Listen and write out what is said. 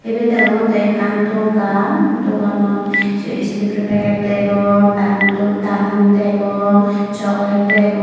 eben deongottey ekkan dogan doganot se istifiri peget degong dal mudo dal mut degong sogolet degong.